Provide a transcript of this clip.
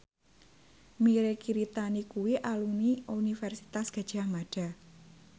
Mirei Kiritani kuwi alumni Universitas Gadjah Mada